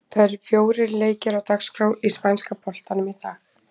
Það eru fjórir leikir á dagskrá í spænska boltanum í dag.